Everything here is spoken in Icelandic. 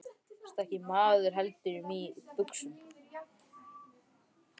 Þú ert ekki maður heldur mý í buxum.